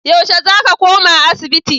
Yaushe za ka koma asibiti?